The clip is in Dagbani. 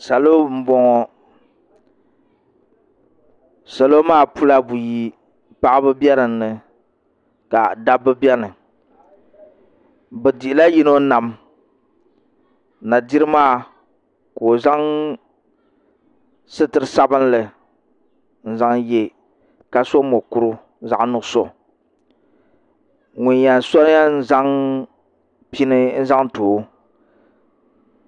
Salo n boŋo salo maa pula buyi paɣaba bɛ dinni ka dabba biɛni bi dihila yino nam na diri maa ka o zaŋ sitiri sabinli n zaŋ yɛ ka so mokuru zaɣ nuɣso so yɛn zaŋ pini n zaŋ too